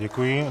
Děkuji.